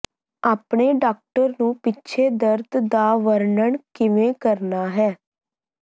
ਆਪਣੇ ਡਾਕਟਰ ਨੂੰ ਪਿੱਛੇ ਦਰਦ ਦਾ ਵਰਣਨ ਕਿਵੇਂ ਕਰਨਾ ਹੈ